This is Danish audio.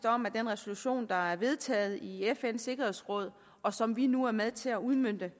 om at den resolution der er vedtaget i fns sikkerhedsråd og som vi nu er med til at udmønte